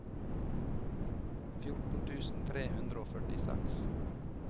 fjorten tusen tre hundre og førtiseks